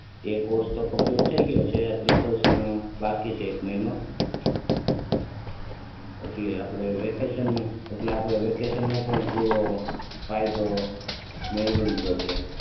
એ course તો complete થઇ ગયો છે આખરી મહિનો બાકી છે એનો પછી આપણે વેકેશન એટલે વેકેશન માં પણ આપણે પૂરો ફાયદો મેળવી લીધો છે.